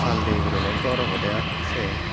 saal dey guriney gor obodey siyen.